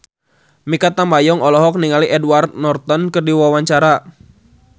Mikha Tambayong olohok ningali Edward Norton keur diwawancara